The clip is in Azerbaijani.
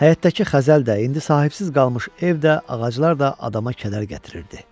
Həyətdəki xəzəl də, indi sahibsiz qalmış ev də, ağaclar da adama kədər gətirirdi.